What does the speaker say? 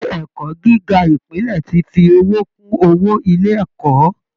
Ilé ẹ̀kọ́ gíga Ìpínlẹ̀ ti fowó kún owó ilé ẹ̀kọ́